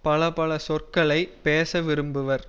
பல பல சொற்களை பேச விரும்புவர்